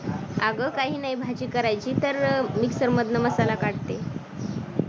अगं काही नाही, भाजी करायची तर mixer मधन मसाला काढते.